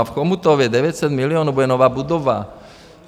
A v Chomutově 900 milionů bude nová budova.